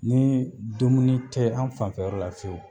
Ni dumuni te an fanfɛyɔrɔ la fiyewu